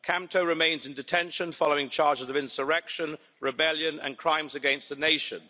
Kamto remains in detention following charges of insurrection, rebellion and crimes against the nation.